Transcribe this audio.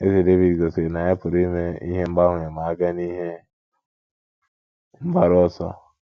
Eze Devid gosiri na ya pụrụ ime mgbanwe ma a bịa n’ihe mgbaru ọsọ